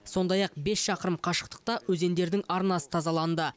сондай ақ бес шақырым қашықтықта өзендердің арнасы тазаланды